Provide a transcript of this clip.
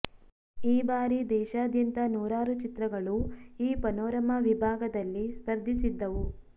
ಈ ಬಾರಿ ದೇಶಾದ್ಯಂತ ನೂರಾರು ಚಿತ್ರಗಳು ಈ ಪನೋರಮಾ ವಿಭಾಗದಲ್ಲಿ ಸ್ಪರ್ಧಿಸಿದ್ದವು